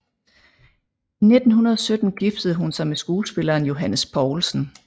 I 1917 giftede hun sig med skuespilleren Johannes Poulsen